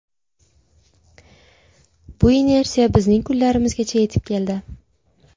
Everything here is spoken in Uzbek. Bu inersiya bizning kunlarimizgacha yetib keldi.